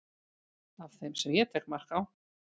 af þeim sem ég tek mark á